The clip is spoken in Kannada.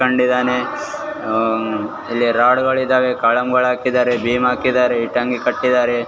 ಅಹ್ ಇಲ್ಲಿ ರಾಡ ಗಳು ಇದಾವೆ ಕಾಲಮಗಳನ್ನು ಹಾಕಿದಾರೆ ಭೀಮ್ ಹಾಕಿದಾರೆ ಇಟ್ಟಂಗಿ ಕಟ್ಟಿದಾರೆ .